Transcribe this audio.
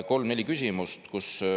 Kolm-neli küsimust.